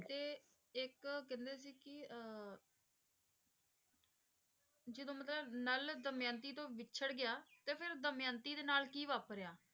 ਤੇ ਇੱਕ ਕਹਿੰਦੇ ਸੀ ਕਿ ਅਹ ਜਦੋਂ ਮਤਲਬ ਨਲ ਦਮਿਅੰਤੀ ਤੋਂ ਵਿਛੜ ਗਿਆ ਤੇ ਫਿਰ ਦਮਿਅੰਤੀ ਦੇ ਨਾਲ ਕੀ ਵਾਪਰਿਆ?